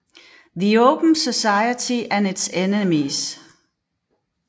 The Open Society and its Enemies